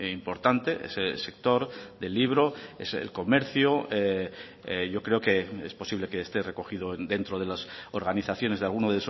importante ese sector de libro es el comercio yo creo que es posible que esté recogido dentro de las organizaciones de alguno